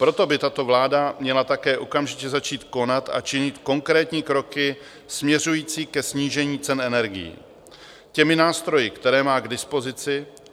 Proto by tato vláda měla také okamžitě začít konat a činit konkrétní kroky směřující ke snížení cen energií těmi nástroji, které má k dispozici.